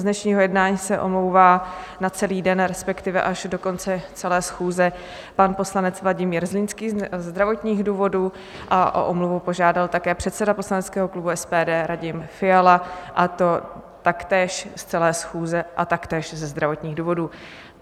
Z dnešního jednání se omlouvá na celý den, respektive až do konce celé schůze, pan poslanec Vladimír Zlínský ze zdravotních důvodů a o omluvu požádal také předseda poslaneckého klubu SPD Radim Fiala, a to taktéž z celé schůze a taktéž ze zdravotních důvodů.